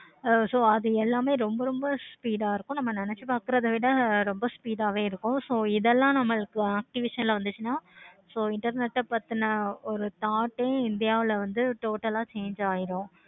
so அது எல்லாமே ரொம்ப ரொம்ப speed ஆஹ் இருக்குதும். நாமே நினச்சு பார்க்கிறதா விட ரொம்பவே speed ஆஹ் இருக்கும். so இதெல்லாம் நமக்கு activation ல வந்துச்சின்னா so internet ஆஹ் பத்தின ஒரு thought ஏ வந்து india ல total ஆஹ் change ஆகிடும்.